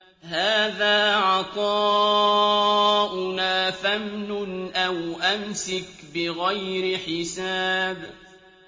هَٰذَا عَطَاؤُنَا فَامْنُنْ أَوْ أَمْسِكْ بِغَيْرِ حِسَابٍ